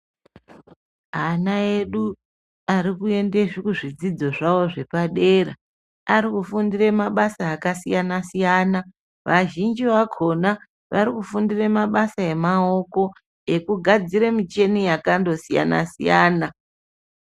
Ana edu arikuende kuzvidzidzo zvavo zvepadera arikufundire mabasa akasiyana-siyana. Vazhinji vakona varikufundire mabasa emaoko ekugadzire michini yakandosiyana-siyana.